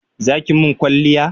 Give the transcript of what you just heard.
Za ki mun kwalliya?